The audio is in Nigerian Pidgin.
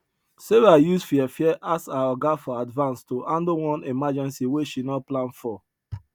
sarah use fear fear ask her oga for advance to handle one emergency wey she no plan for